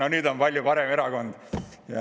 Aga nüüd on see palju parem erakond.